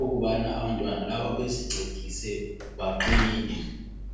ukubana abantwana laba bezincedise baqine.